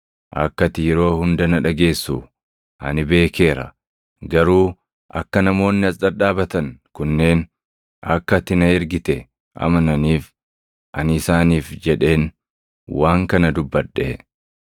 Akka ati yeroo hunda na dhageessu ani beekeera; garuu akka namoonni as dhadhaabatan kunneen akka ati na ergite amananiif ani isaaniif jedheen waan kana dubbadhe.”